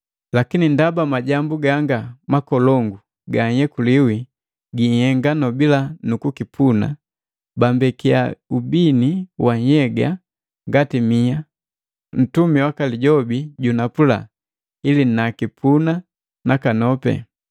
Lakini, ndaba majambu ganga makolongu ganhyekuliwi ginhenga nobila kukipuna bambekiya ubini wa nhyega ngati mia, ntumi waka lijobi jojunapu, ili nakipuna nakanopi.